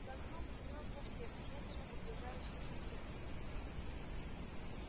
за окном шумел проспект медленно погружающийся в сумерки